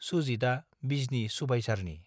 सुजितआ बिजनी सुबाइझारनि।